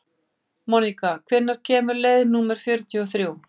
Mónika, hvenær kemur leið númer fjörutíu og þrjú?